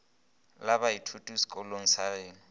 la baithuti sekolong sa geno